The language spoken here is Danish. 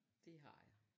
Det har jeg